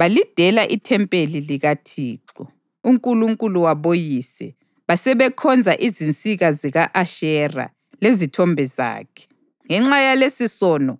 Balidela ithempeli likaThixo, uNkulunkulu waboyise, basebekhonza izinsika zika-Ashera, lezithombe zakhe. Ngenxa yalesisono,